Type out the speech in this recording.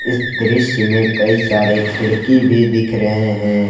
इस दृश्य में कई सारे खिड़की भी दिख रहे हैं।